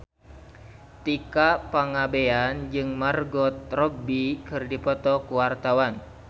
Tika Pangabean jeung Margot Robbie keur dipoto ku wartawan